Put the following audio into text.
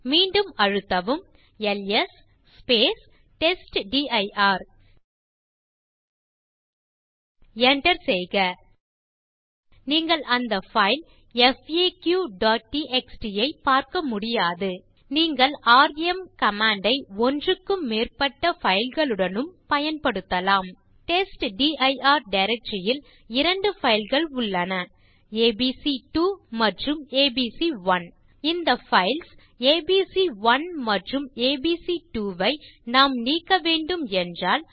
மீண்டும் அழுத்தவும் LS test dir enter செய்க நீங்கள் அந்த பைல் faqடிஎக்ஸ்டி ஐ பார்க்க முடியாது நீங்கள் ராம் கமாண்ட் ஐ ஒன்றுக்கும் மேற்பட்ட பைல் களுடனும் பயன்படுத்தலாம் டெஸ்ட்டிர் டைரக்டரி யில் இரண்டு பைல் கள் உள்ளன ஏபிசி2 மற்றும் ஏபிசி1 இந்த பைல்ஸ் ஏபிசி1 மற்றும் ஏபிசி2 ஐ நாம் நீக்க வேண்டும் என்றால்